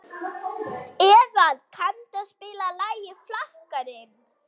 Eðvald, kanntu að spila lagið „Flakkarinn“?